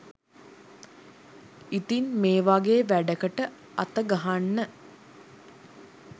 ඉතින් මේ වගේ වැඩකට අතගහන්න